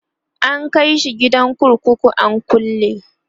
an kaishi gidan kurkuku an kulle